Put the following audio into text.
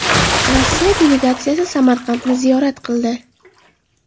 Rossiya delegatsiyasi Samarqandni ziyorat qildi .